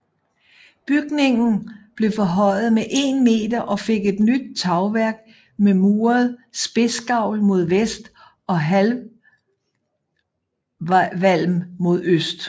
Bygningen blev forhøjet med 1 meter og fik et nyt tagværk med muret spidsgavl mod vest og halvvalm mod øst